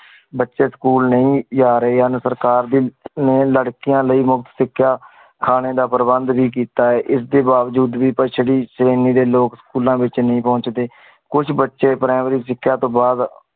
ਬੱਚੇ ਸਕੂਲ ਨਹੀਂ ਰਾ ਰਹੇ ਹਨ। ਸਰਕਾਰ ਦੀ ਨੇ ਲੜਕੀਆਂ ਲਯੀ ਮੁਫ਼ਤ ਸਿਖਿਆ, ਖਾਣੇ ਦਾ ਪ੍ਰਬੰਧ ਬੀ ਕੀਤਾ ਹੈ। ਇਸ ਦੇ ਬਾਵਜੂਦ ਪਿਛੇੜੀ ਸ਼੍ਰੇਣੀ ਦੇ ਲੋਕ ਸਕੂਲਾਂ ਵਿਚ ਨਹੀਂ ਪਹੁੰਚਦੇ। ਕੁਛ ਬੱਚੇ primary ਸਿਕਸਾ ਤੋਂ ਬਾਦ